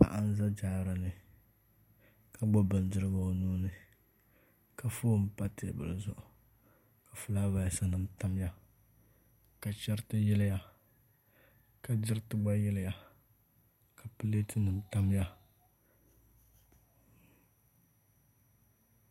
Paɣa n bɛ jaarani ka gbubi bindirigu o nuuni ka foon pa teebuli nim zuɣu ka fulaawaasi nim tamya ka chɛriti yiliya ka diriti gba yiliya ka pileet nim tamya